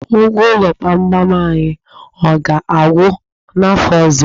Ụgwọ ụlọ gbamgbam anyị, ọ ga-agwụ n'afọ ọzọ?